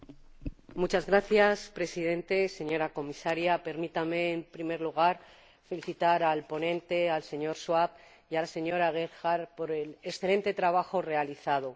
Señor Presidente, señora Comisaria, permítanme, en primer lugar, felicitar al ponente, señor Schwab, y a la señora Gebhardt por el excelente trabajo realizado.